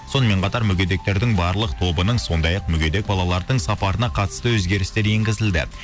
сонымен қатар мүгедектердің барлық тобының сондай ақ мүгедек балалардың сапарына қатысты өзгерістер енгізілді